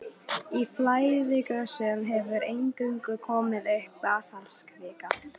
Í flæðigosum hefur eingöngu komið upp basaltkvika.